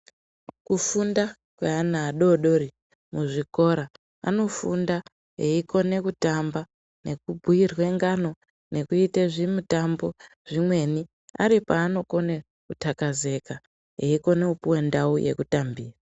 Kufunda kweana adodori muzvikora anofunda eikona kutamba nekubhuyirwe ngano nekuite zvimitambo zvimweni aripaanokone kuthlakazeka eikone kupuwe ndau yekutambira.